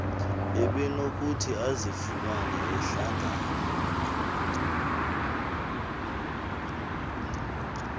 ebenokuthi azifumane ehlangana